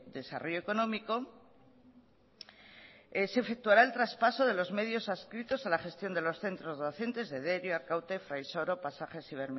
desarrollo económico se efectuará el traspaso de los medios adscritos a la gestión de los centros docentes de derio arkaute fraisoro pasajes y